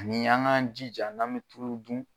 Nin y'an k'an jija n'an bɛ tulu dun.